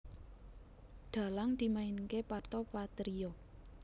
Dhalang dimainké Parto Patrio